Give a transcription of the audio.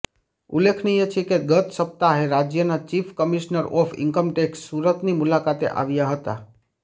ઉલ્લેખનીય છે કે ગત સપ્તાહે રાજ્યના ચીફ કમિશ્નર ઓફ ઇન્કમટેક્ષ સુરતની મુલાકાતે આવ્યા હતા